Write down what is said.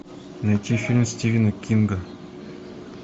найти фильм стивена кинга